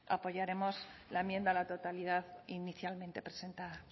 apoyaremos la enmienda a la totalidad inicialmente presentada